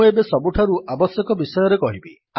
ମୁଁ ଏବେ ସବୁଠାରୁ ଆବଶ୍ୟକ ବିଷୟରେ କହିବି